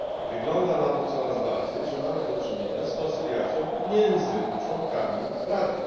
Wygląda na to coraz bardziej, że mamy do czynienia z koncyliacją między członkami Rady.